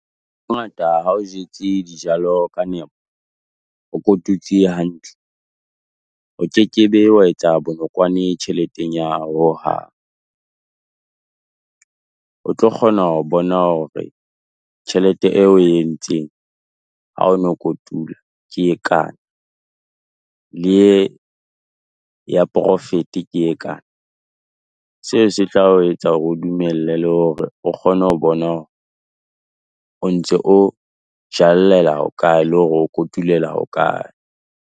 Hangata ha o jetse dijalo ka nepo, o kotutse hantle, o ke ke be wa etsa bonokwane tjheleteng ya hohang. O tlo kgona ho bona hore tjhelete eo o e entseng, ha o no kotula, ke e kae, e ye ya profit-e ke e kae? Seo se tla o etsa hore o dumelle le hore o kgone ho bona hore o ntse o jallela hokae le hore o kotulela hokae?